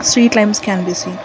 street limes can be seen.